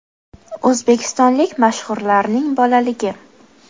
O‘zbekistonlik mashhurlarning bolaligi .